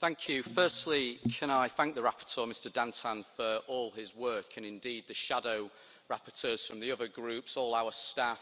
Madam President, firstly can I thank the rapporteur, Mr Dantin, for all his work, and indeed the shadow rapporteurs from the other Groups, all our staff